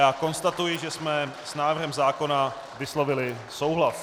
Já konstatuji, že jsme s návrhem zákona vyslovili souhlas.